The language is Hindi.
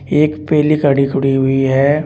एक पीली गाड़ी खड़ी हुई है।